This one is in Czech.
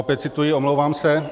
- Opět cituji, omlouvám se.